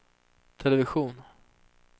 television